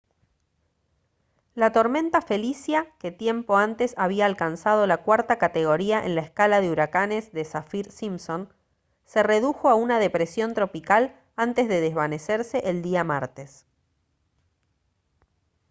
la tormenta felicia que tiempo antes había alcanzado la cuarta categoría en la escala de huracanes de saffir-simpson se redujo a una depresión tropical antes de desvanecerse el día martes